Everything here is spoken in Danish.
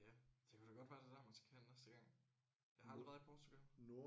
Ja det kunne da godt være det er der man skal hen næste gang. Jeg har aldrig været i Portugal